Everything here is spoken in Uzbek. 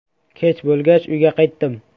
Kech bo‘lgach uyga qaytdim.